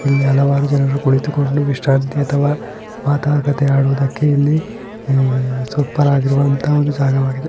ಇಲ್ಲಿ ಹಲವಾರು ಜನರು ಕುಳಿತುಕೊಂಡು ವಿಸ್ರನ್ತಿ ಅಥವಾ ಮಾತುಕತೆ ಆಡುವುದಕ್ಕೆ ಇಲ್ಲಿ ಸೂಪರ್ ಆಗಿರುವಂತಹ ಒಂದು ಜಾಗವಾಗಿದೆ.